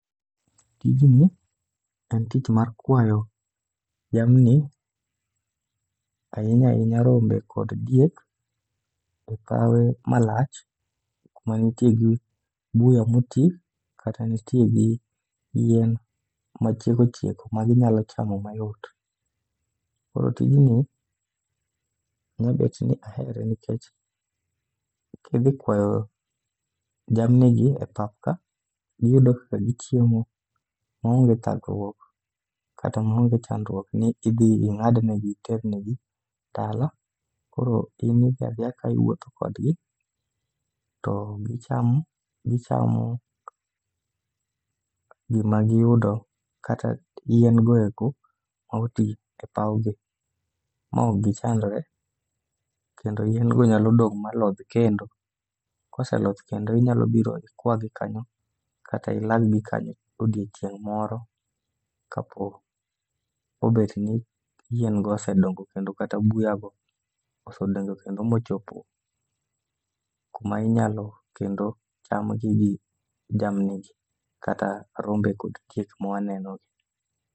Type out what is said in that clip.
Tijni, en tich mar kwayo jamni ahinya ahinya rombe kod diek e kawe malach, kuma nitie gi buya moti kata nitie gi yien machieko chieko maginyalo chamo mayot. Koro tijni, nyabet ni ahere nikech kidhi kwayo jamnigi e pap ka, giyudo kaka gichiemo maonge thagruok kata maonge chandruok ni idhi ing'adnegi, iternegi kalo, koro in idhi adhiya ka iwuotho kodgi to gichamo gima giyudo kata yien go eko moti e pawno, ma ok gichandre. Kendo yien go nyalo dong' ma lodh kendo. Koseloth kendo inyalo biro ikwagi kanyo kata odiochieng' moro kapok obet ni yien go osedongo kendo kata buya go osedongo kendo mochopo kuma inyalo chamgi gi jamnigi kata rombego mwanenogi.